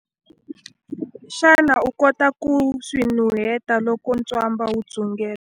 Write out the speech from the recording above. Xana u kota ku swi nuheta loko ntswamba wu dzungela?